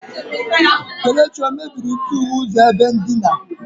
Kelechi o mebiri ntughe ụzọ ebe ndina?